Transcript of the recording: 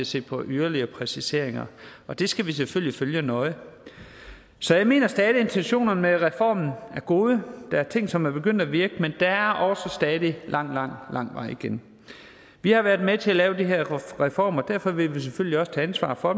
se på yderligere præciseringer det skal vi selvfølgelig følge nøje så jeg mener stadig at intentionerne med reformen er gode der er ting som er begyndt at virke men der er også stadig lang lang lang vej igen vi har været med til at lave de her reformer og derfor vil vi selvfølgelig også tage ansvar for